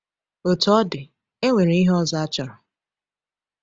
Otú ọ dị, e nwere ihe ọzọ achọrọ.